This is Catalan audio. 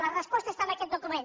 la resposta està en aquest document